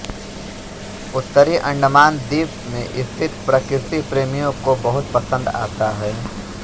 उत्तरी अंडमान द्वीप में स्थित प्रकृति प्रेमियों को बहुत पसंद आता है